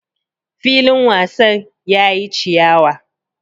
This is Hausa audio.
Filin wasan yayi chiyawa.